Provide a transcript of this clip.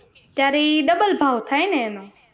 ત્યારે ઈ double ભાવ થાય ને એને.